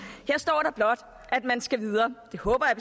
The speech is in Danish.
her står der blot at man skal videre det håber jeg